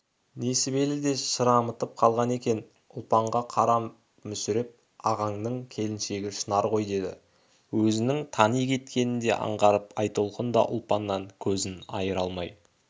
несібелі де шырамытып қалған екен ұлпанға қарапмүсіреп ағаңның келіншегі шынар ғой деді өзінің тани кеткенін де аңғартып айтолқын да ұлпаннан кезін айыра алмай